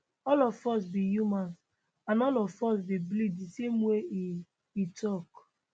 all of us be humans and all of us dey bleed di same way e e tok